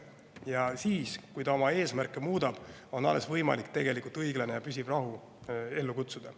Ja siis, kui ta oma eesmärke muudab, on alles võimalik tegelikult õiglane ja püsiv rahu ellu kutsuda.